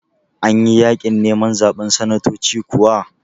Anyi yaƙin neman zaɓen sanatoci kuwa?